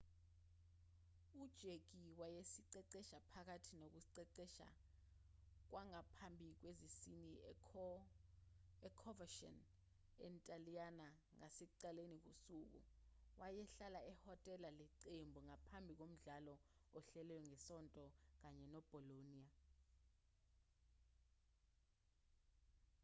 u-jarque wayeziqeqesha phakathi nokuziqeqesha kwangaphambi kwesizini e-coverciano entaliyane ngasekuqaleni kosuku wayehlala ehhotela leqembu ngaphambi komdlalo ohlelelwe ngesonto kanye ne-bolonia